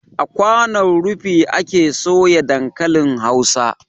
A kwanon rufi ake soya dankalin hausa